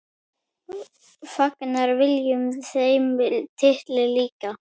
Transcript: Fagnar Willum þeim titli líka?